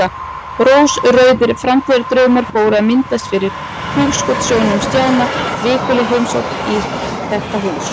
Rósrauðir framtíðardraumar fóru að myndast fyrir hugskotssjónum Stjána: Vikuleg heimsókn í þetta hús.